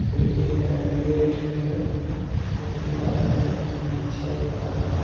खिड़की है गेट है जो खुला है दिखने में अच्छा लग रहा है।